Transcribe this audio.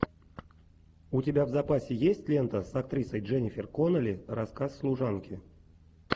у тебя в запасе есть лента с актрисой дженнифер коннелли рассказ служанки